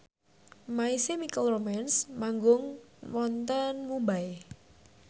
My Chemical Romance manggung wonten Mumbai